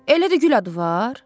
Elə də gül adı var?